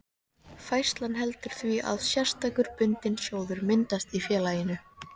Færslan veldur því að sérstakur bundinn sjóður myndast í félaginu.